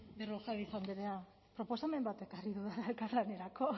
berrojalbiz andrea proposamen bat ekarri dudala elkarlanerako